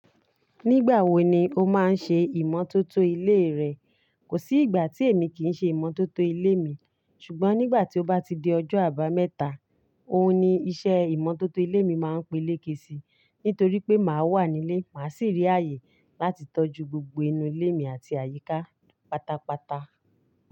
Nígbà wo ni o máa ń ṣe ìmọ́tótó ilé rẹ? Kò sí ìgbà tí èmi kì í ṣe ìmọ́tótó ilé mi. Ṣùgbọ́n nígbà tí ó bá ti di ọjọ́ àbámẹ́ta, òhun ni iṣẹ́ ìmọ́tótó ilé mi máa ń pé léke sí, nítorí pé màá wà nílé, màá sì rí ààyè láti tọ́jú gbogbo inú ilé mi àti àyíká pátápátá.